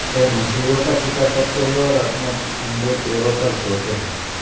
ये मछलियों का शिकार करते हैं और अपने अंडे पैरों पर ढोते हैं